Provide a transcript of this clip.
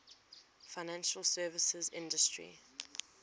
financial services industry